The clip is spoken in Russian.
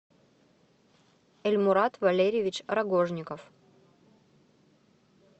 эльмурат валерьевич рогожников